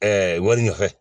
wari ɲɛfɛ